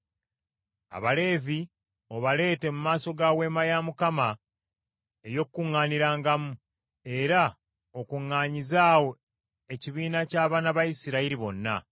Abaleevi obaleete mu maaso ga Weema ya Mukama ey’Okukuŋŋaanirangamu, era okuŋŋaanyize awo ekibiina ky’abaana ba Isirayiri bonna.